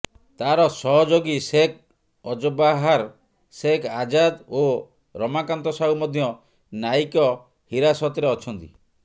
ତାର ସହଯୋଗୀ ସେଖ ଅଜବାହାର ସେଖ ଆଜାଦ ଓ ରମାକାନ୍ତ ସାହୁ ମଧ୍ୟ ନ୍ୟାୟିକ ହିରାସତରେ ଅଛନ୍ତି